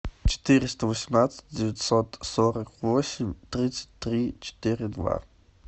четыреста восемнадцать девятьсот сорок восемь тридцать три четыре два